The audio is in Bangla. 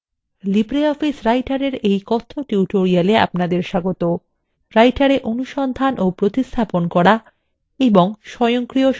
libreoffice writer এর এই কথ্য tutorial এ আপনাদের স্বাগতwriter এ অনুসন্ধান ও প্রতিস্থাপন করা এবং স্বয়ংক্রিয় সংশোধন